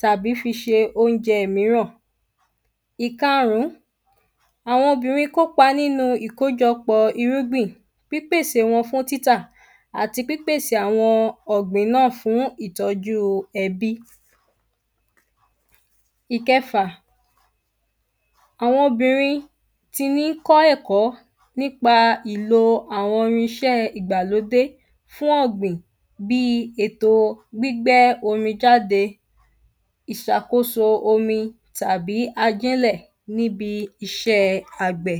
tàbí fi ṣe óúnjẹ míràn. Ìkarùn ún àwọn obìnrin kópa nínú ìkójọpọ̀ irúgbìn pípèsè wọn fún títà àti pípèsè àwọn ọ̀gbìn náà fún ìtọ́jú ẹbí. Ìkẹfà àwọn obìnrin ti ní kọ́ ẹ̀kọ́ nípa ìlo àwọn irinṣẹ́ ìgbàlódé fún ọ̀gbìn bí ètò gbígbẹ́ omi jáde ìsàkóso omi tàbí ajílẹ̀ níbi iṣé àgbẹ̀.